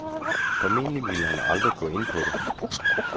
Formentlig ville han aldrig gå ind på det.